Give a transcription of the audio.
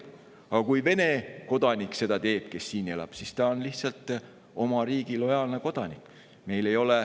Aga kui seda teeb Vene kodanik, kes siin elab, siis ta on lihtsalt oma riigi lojaalne kodanik.